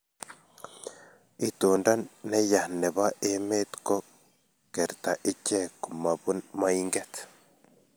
itondo ne ya nebo emet ko kerta ichek komapun moinget